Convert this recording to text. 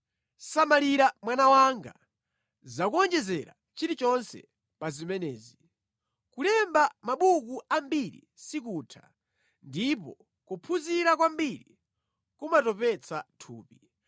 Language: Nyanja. Samalira mwana wanga, za kuwonjezera chilichonse pa zimenezi. Kulemba mabuku ambiri sikutha, ndipo kuphunzira kwambiri kumatopetsa thupi.